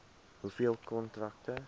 hoeveel kontrakte